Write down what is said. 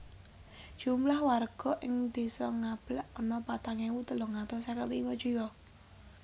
Jumlah warga ing Désa Ngablak ana patang ewu telung atus seket limo jiwa